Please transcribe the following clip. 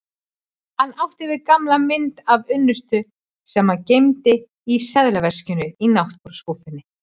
Hann átti við gamla mynd af unnustu sem hann geymdi í seðlaveskinu í náttborðsskúffunni.